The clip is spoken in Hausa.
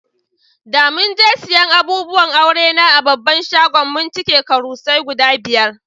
Da mun je siyan abubuwan aure na a babban shagon, mun cike karusai guda biyar.